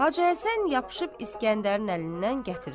Hacı Həsən yapışıb İskəndərin əlindən gətirir.